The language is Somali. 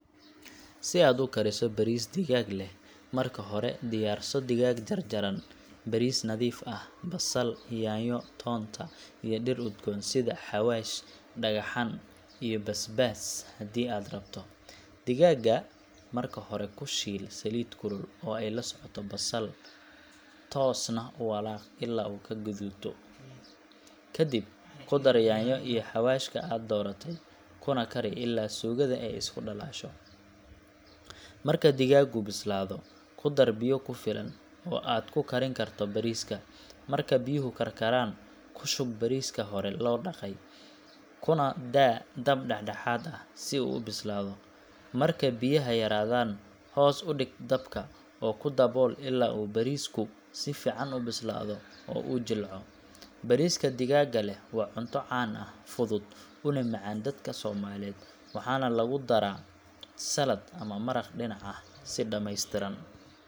Si aad u kariso bariis digaag leh, marka hore diyaarso digaag jarjaran, bariis nadiif ah, basal, yaanyo, toonta, iyo dhir udgoon sida xawaash, dhagaxan iyo basbaas haddii aad rabto. Digaagga marka hore ku shiil saliid kulul oo ay la socoto basal, toosna u walaaq ilaa uu ka gaduudo. Kadib ku dar yaanyo iyo xawaashka aad dooratay, kuna kari ilaa suugada ay isku dhalaasho. Marka digaaggu bislaado, ku dar biyo ku filan oo aad ku karin karto bariiska. Marka biyuhu karkaraan, ku shub bariiska hore loo dhaqay, kuna daa dab dhexdhexaad ah si uu u bislaado. Marka biyihii yaraadaan, hoos u dhig dabka oo ku dabool ilaa uu bariisku si fiican u bislaado oo uu jilco. Bariiska digaagga leh waa cunto caan ah, fudud, una macaan dadka Soomaaliyeed, waxaana lagu daro salad ama maraq dhinac ah si dhammaystiran.